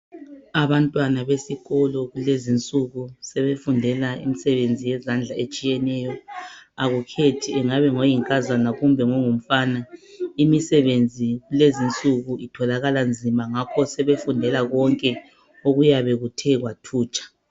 Abantwana besikolo kulezinsuku sebefundela imisebenzi yezandla etshiyeneyo. Akukhethi engabe ngoyinkazana kumbe ngongumfana imisebenzi lezinsuku itholakala nzima ngakho sebefundela konke okuyabe kuthe kwathutsha.